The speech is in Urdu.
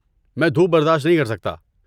میں دھوپ برداشت نہیں کر سکتا۔